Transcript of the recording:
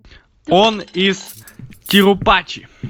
он из тирупачи